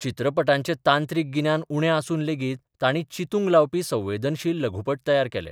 चित्रपटांचें तांत्रीक गिन्यान उणें आसून लेगीत तांणी चिंतूक लाबपी संवेदनशील लघुपट तयार केले.